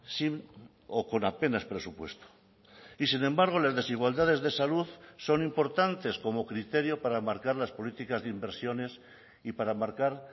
sin o con apenas presupuesto y sin embargo las desigualdades de salud son importantes como criterio para marcar las políticas de inversiones y para marcar